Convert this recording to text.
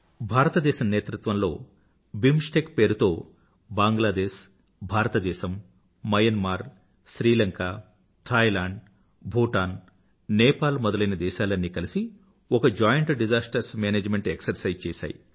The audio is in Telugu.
భారతదేశం నేతృత్వంలో బిమ్స్టెక్ పేరుతో బాంగ్లాదేశ్ భారతదేశం మయన్మార్ శ్రీలంక థాయిలాండ్ భూటాన్ నేపాల్ మొదలైన దేశాలన్నీ కలిసి ఒక జాయింట్ డిసాస్టర్స్ మేనేజ్మెంట్ ఎక్సర్సైజ్ చేసాయి